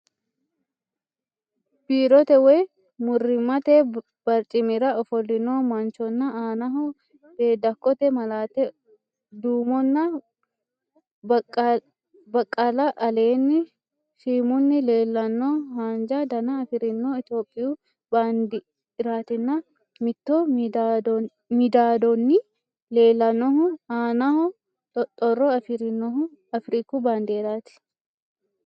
Biirote woy murrimmate barcimira ofollino manchonna aanaho beeddakkote malaate, duumonna baqqala aleenni shhimunni leellanno haanja dana afirinohu itophiyu bandeeratinna mitto midaadoonni leellannohu aanaho xoxxoro afirinohu afiriku baandeeraati.